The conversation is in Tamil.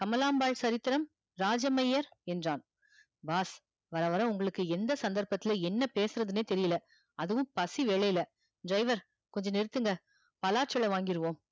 கமலாம்பாள் சரித்திரம் இராஜமையர் என்றான் boss வர வர உங்களுக்கு எந்த சந்தற்பத்துல என்ன பேசுறதுனே தெர்ல அதுவும் பசி வேலையில driver கொஞ்சம் நிறுத்துங்க பலாச்சுல வாங்கிருவோம்